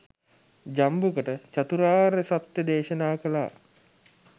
ජම්බුකට චතුරාර්ය සත්‍යය දේශනා කළා.